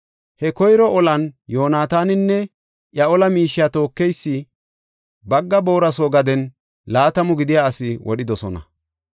He koyro olan Yoonataaninne iya ola miishiya tookeysi bagga boora soo gaden laatamu gidiya asi wodhidosona.